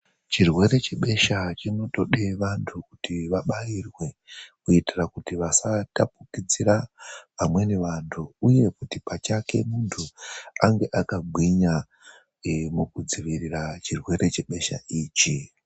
Chirwere chebesha chinotode kuti anhu abaiwe kuti asatapudzira amweni anhu uye kuti munhu pachake ange akagwinya mukudzivirira chirwere chebesha ichi.